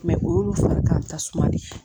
o y'olu fari ka tasuma de ye